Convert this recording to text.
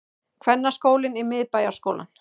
Kvennaskólinn í Miðbæjarskólann